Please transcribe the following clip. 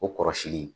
O kɔrɔsili